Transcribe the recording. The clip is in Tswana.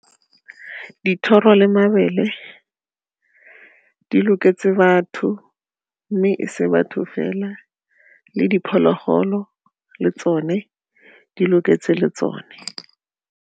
Dithoro le mabele di loketse batho mme e se batho fela le diphologolo le tsone di loketse le tsone.